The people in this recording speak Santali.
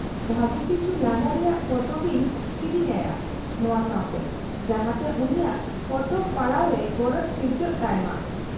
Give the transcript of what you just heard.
-ᱵᱷᱟᱹᱜᱤ ᱠᱤᱪᱷᱩ ᱞᱟᱸᱫᱟ ᱨᱮᱭᱟᱜ ᱯᱚᱛᱚᱵ ᱤᱧ ᱠᱤᱨᱤᱧ ᱟᱭᱟ ᱱᱚᱶᱟ ᱥᱟᱶᱛᱮ, ᱡᱟᱦᱟᱸᱛᱮ ᱩᱱᱤᱭᱟᱜ ᱯᱚᱛᱚᱵ ᱯᱟᱲᱦᱟᱣ ᱨᱮ ᱜᱚᱨᱚᱡᱽ ᱥᱤᱨᱡᱟᱹᱜ ᱛᱟᱭ ᱢᱟ ᱾